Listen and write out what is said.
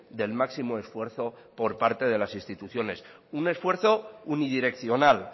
del máximo esfuerzo por parte de las instituciones un esfuerzo unidireccional